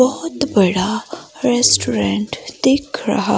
बहुत बड़ा रेस्टोरेंट देख रहा--